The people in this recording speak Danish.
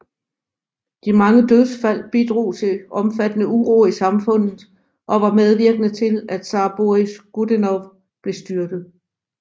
De mange dødsfald bidrog til omfattende uro i samfundet og var medvirkende til at zar Boris Godunov blev styrtet